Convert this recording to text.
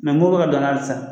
Mɛ mɔgɔ bɛ ka don a la hali sisan